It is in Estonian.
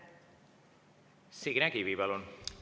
Signe Kivi, palun!